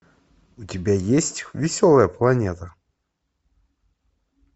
у тебя есть веселая планета